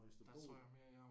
Og hvis du er god